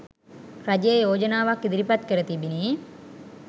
රජය යෝජනාවක් ඉදිරිපත් කර තිබිණි.